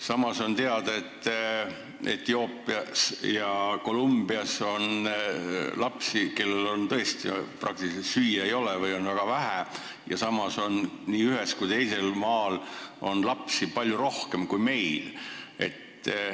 Samas on teada, et Etioopias ja Colombias on lapsi, kellel tõesti süüa ei ole või on väga vähe, aga nii sellel ühel kui ka sellel teisel maal on lapsi palju rohkem kui meil.